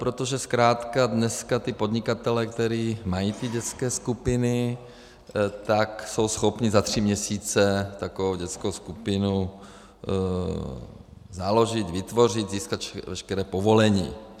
Protože zkrátka dneska ti podnikatelé, kteří mají ty dětské skupiny, tak jsou schopni za tři měsíce takovou dětskou skupinu založit, vytvořit, získat veškerá povolení.